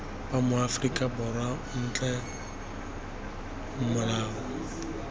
ba maaforika borwa otlhe molao